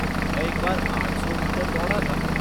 मैं एक बार आठ सौ मीटर दौड़ा था।